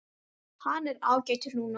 Hann er ágætur núna.